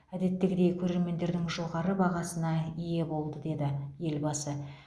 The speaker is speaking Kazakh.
әдеттегідей көрермендердің жоғары бағасына ие болды деді елбасы